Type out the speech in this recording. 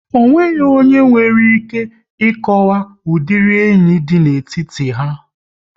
Ọ nweghị onye nwere ike ị kọwaw udiri enyi dị n'etiti ha